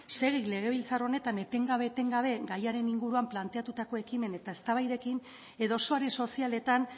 segi legebiltzar honetan eten gabe eten gabe gaiaren inguruan planteatutako ekimen eta eztabaidekin edo sare sozialetan